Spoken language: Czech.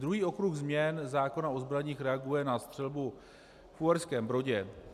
Druhý okruh změn zákona o zbraních reaguje na střelbu v Uherském Brodě.